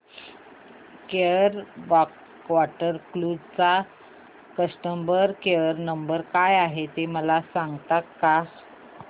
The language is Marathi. केरळ बॅकवॉटर क्रुझ चा कस्टमर केयर नंबर काय आहे मला सांगता का